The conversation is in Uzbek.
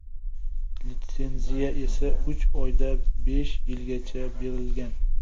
Litsenziya esa uch oydan besh yilgacha berilgan.